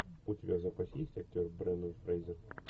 у тебя в запасе есть актер брендан фрейзер